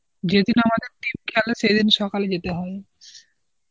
যেদিন আমাদের team খেলে সেদিন সকালে যেতে হয়.